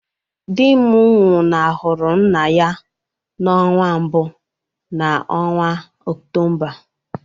Di m nwụnahụrụ nna ya n’ọnwa mbụ n’ọnwa Ọktoba